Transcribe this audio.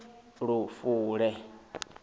lufule